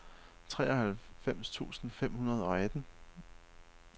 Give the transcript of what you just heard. treoghalvfems tusind fem hundrede og atten